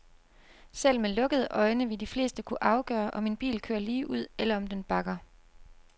Selv med lukkede øjne vil de fleste kunne afgøre, om en bil kører ligeud, eller om den bakker.